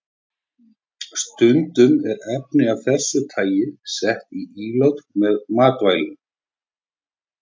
Stundum eru efni af þessu tagi sett í ílát með matvælum.